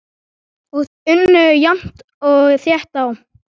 Og þau unnu jafnt og þétt á.